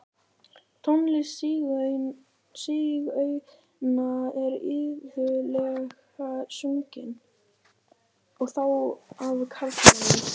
Tónlist sígauna er iðulega sungin, og þá af karlmanni.